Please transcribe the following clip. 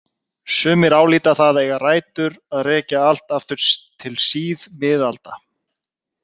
Sumir álíta það eiga rætur að rekja allt aftur til síðmiðalda.